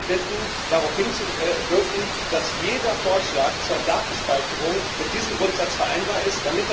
Ich würde Sie alle bitten, darauf hinzuwirken, dass jeder Vorschlag zur Datenspeicherung mit diesem Grundsatz vereinbar ist.